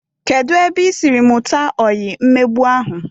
Kedu ebe isiri mụta oyi mmegbu ahụ?